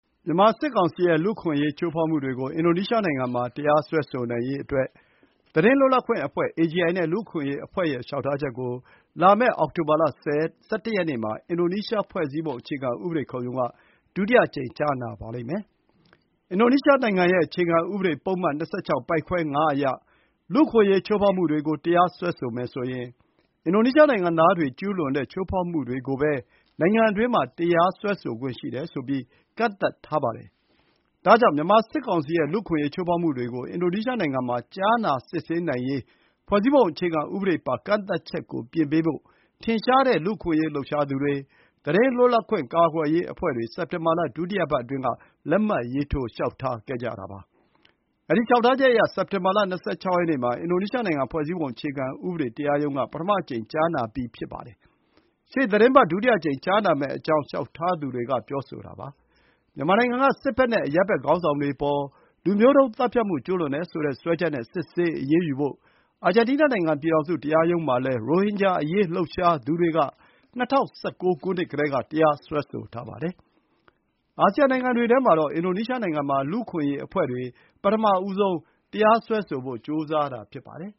မြန်မာစစ်ကောင်စီရဲ့ လူ့အခွင့်အရေးချိုးဖေါက်မှုတွေကို အင်ဒိုနီးရှားနိုင်ငံမှာ တရားစွဲဆိုနိုင်ရေး သတင်းလွတ်လပ်ခွင့်အဖွဲ့ AJI နဲ့ လူ့အခွင့်အရေးအဖွဲ့ရဲ့ လျှောက်ထား ချက်ကို လာမယ့် အောက်တိုဘာလ ၁၁ ရက်နေ့မှာ အင်ဒိုနီးရှား ဖွဲ့စည်းပုံအခြေခံ ဥပဒေခုံရုံးက ဒုတိယအကြိမ် ကြားနာဖို့ရှိပါတယ်။ အင်ဒိုနီးရှားနိုင်ငံရဲ့အခြေခံဥပဒေ ပုဒ်မ၂၆၊ ပိုဒ်ခွဲ ၅ အရ လူ့အခွင့်အရေးချိုးဖေါက် မှုတွေကို တရားစွဲမယ်ဆိုရင် အင်ဒိုနီးရှားနိုင်ငံသားတွေကျုးလွန်တဲ့ ချိုးဖေါက်မှုတွေကိုပဲ နိုင်ငံအတွင်းမှာ တရားစွဲဆိုခွင့်ရှိတယ်ဆိုပြီး ကန့်သတ်ထားပါတယ်။ ဒါကြောင့် မြန်မာစစ်ကောင်စီရဲ့ လူ့အခွင့်အရေးချိုးဖေါက်မှုတွေကို အင်ဒိုနီးရှားနိုင်ငံမှာ ကြားနာစစ်ဆေးနိုင်ရေး ဖွဲ့စည်းပုံ အခြေခံဥပဒေပါ ကန့်သတ်ချက်ကို ပြင်ပေးဖို့ ထင်ရှားတဲ့ လူ့အခွင့်အရေး လှုပ်ရှားသူတွေ၊ သတင်းလွတ်လပ်ခွင့် ကာကွယ်ရေးအဖွဲ့တွေ စက်တင်ဘာလ ဒုတိယပတ်အတွင်းက လက်မှတ်ရေးထိုး လျှောက်ထားခဲ့ကြပါတယ်။ ဒီလျှောက်ထားချက်အရ စက်တင်ဘာလ ၂၆ ရက်နေ့မှာ အင်ဒိုနီးရှားနိုင်ငံ ဖွဲ့စည်းပုံ အခြေခံဥပဒေ တရားရုံးက ပထမအကြိမ် ကြားနာပြီးဖြစ်ပါတယ်။ ရှေ့သီတင်းပတ် ဒုတိယအကြိမ်ကြားနာမယ့်အကြောင်း လျှောက်ထားသူတွေက ပြောဆိုတာပါ။ မြန်မာနိုင်ငံက စစ်ဘက်နဲ့ အရပ်ဘက်ခေါင်းဆောင်တွေအပေါ် လူမျိုးတုန်းသတ်ဖြတ်မှု ကျူးလွန်တယ်ဆိုတဲ့ စွဲချက်နဲ့ စစ်ဆေး အရေးယူဖို့ အာဂျင်တီးနားနိုင်ငံ ပြည်ထောင်စုတရားရုံးမှာလည်း ရိုဟင်ဂျာအရေးလှုပ်ရှားသူတွေ ၂၀၁၉ ခုနှစ်ကတည်းက တရားစွဲဆိုထားပါတယ်။ အာဆီယံနိုင်ငံတွေထဲမှာတော့ အင်ဒိုနီးရှားနိုင်ငံမှာ လူ့အခွင့်အရေးအဖွဲ့တွေက ပထမဆုံး တရားစွဲဆိုဖို့ ကြိုးစားတာ ဖြစ်ပါတယ်